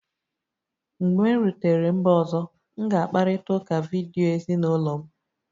Mgbe m rutere mba ọzọ, m ga-akparịta ụka vidiyo ezinụlọ m